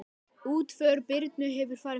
Útför Birnu hefur farið fram.